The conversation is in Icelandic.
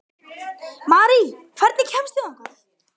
Marí, hvernig kemst ég þangað?